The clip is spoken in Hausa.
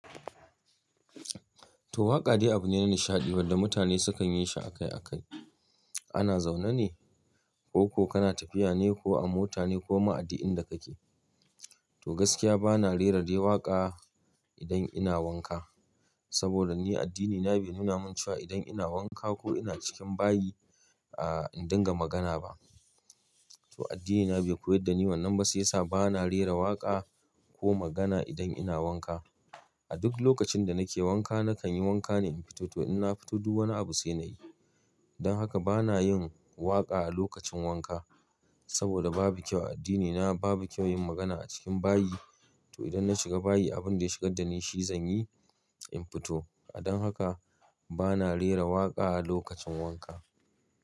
To waƙa dai abu ne na nishaɗi wanda mutane sukan yi shi akai akai. Ana zaune ne ko ko kana tafiya ne ko a mota ne ko ma a duk inda kake. To gaskiya bana rera dai waƙa idan ina wanka. Saboda ni addinina bai nuna min cewa idan ina wanka ko ina cikin bayi in dinga magana ba. To addinina bai koyar da ni wannan ba sai ya sa bana rera waƙa ko magana idan ina wanka. A duk lokacin da nake wanka nakan yi wanka ne in fito. To in na fito duk wani abu sai na yi. Don haka bana yin waƙa a lokacin wanka. Saboda babu kyau a addinina babu kyau yin magana a cikin bayi. To idan na shiga bayi abin da ya shigar da ni shi zan yi in fito. A don haka bana rera waƙa a lokacin wanka.